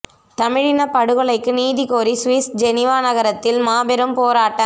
தமிழினப் படுகொலைக்கு நீதி கோரி சுவிஸ் ஜெனிவா நகரத்தில் மாபெரும் போராட்டம்